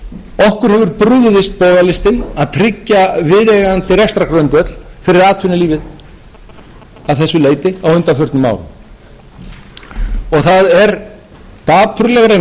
tryggja viðeigandi rekstrargrundvöll fyrir atvinnulífið að þessu leyti á undanförnum árum það er dapurleg reynsla sem